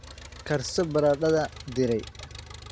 Karso baradhada diiray.